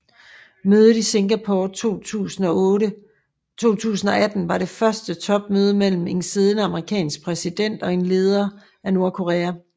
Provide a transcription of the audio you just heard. Mødet i Singapore 2018 var det første topmøde mellem en siddende amerikansk præsident og en leder af Nordkorea